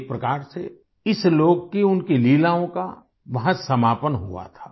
एक प्रकार से इस लोक की उनकी लीलाओं का वहाँ समापन हुआ था